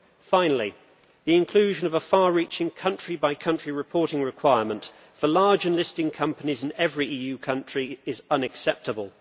Finally, the inclusion of a far reaching country by country reporting requirement for large and listed companies in every EU country is unacceptable.